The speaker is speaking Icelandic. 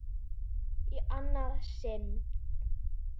Í annað sinn.